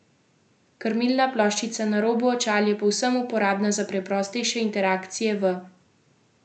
Krmilna ploščica na robu očal je povsem uporabna za preprostejše interakcije v navideznem svetu.